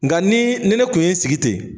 Nka ni ne kun ye sigi ten.